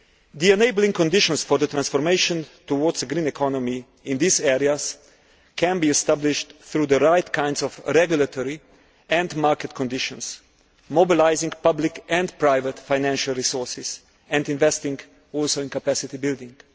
The enabling conditions for the transformation towards a green economy in these areas can be established through the right kinds of regulatory and market conditions, mobilising public and private financial resources and also investing in capacity building.